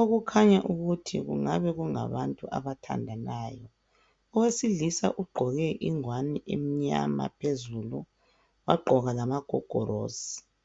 okukhanya ukuthi kungabe kungabantu abathandanayo. Owesilisa ugqoke ingwane emnyama phezulu wagqoka lamagogorosi.